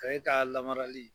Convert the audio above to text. Ka e ka lamaralii